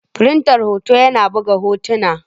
Firinta hoto yana buga hotuna.